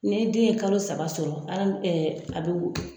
Ni den ye kalo saba sɔrɔ an fɛ a bi